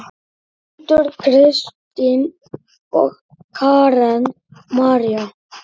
Hildur, Kristín og Karen María.